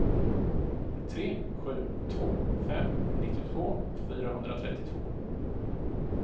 tre sju två fem nittiotvå fyrahundratrettiotvå